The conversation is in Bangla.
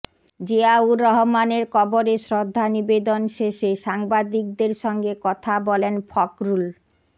জিয়াউর রহমানের কবরে শ্রদ্ধা নিবেদন শেষে সাংবাদিকদের সঙ্গে কথা বলেন ফখরুল